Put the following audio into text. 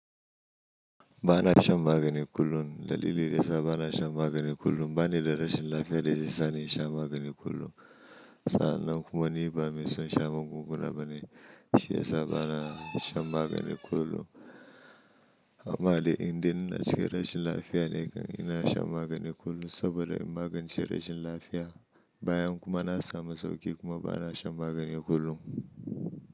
Bana shan magani kullum, dalili da yasa bana shan magani kullum bane darasin lafiya da zai sa ni shan magani kullum. Sa'an nan kuma ni ba mai son shan magunguna bane, shi yasa bana shan magani kullum. Amma dai indai ina cikin rashin lafiya ne kan ina shan magani kullum saboda in magance rashin lafiya bayan kuma na samu sauƙi kuma bana shan magani kullum.